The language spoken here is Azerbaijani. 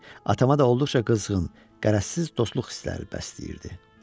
Atama da olduqca qızğın, qərəzsiz dostluq hissləri bəsləyirdi.